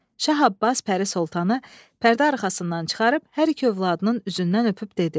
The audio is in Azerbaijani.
Şah Abbas Pərisoltanı pərdə arxasından çıxarıb hər iki övladının üzündən öpüb dedi: